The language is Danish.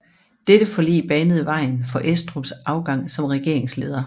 Dette forlig banede vejen for Estrups afgang som regeringsleder